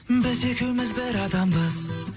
біз екеуміз бір адамбыз